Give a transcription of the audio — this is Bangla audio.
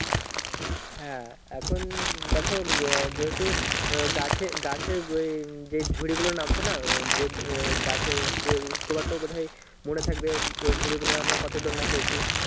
হ্যাঁ এখন দেখো গে যেহুত গাছে গাছে ওই যে ঝুড়ি গুলো নামতো না ওই যে ওই গাছের যে তোমার তো বোধাই মনে থাকবে ওই ঝুড়িগুলোই আমরা কত দোলনা খেয়েছি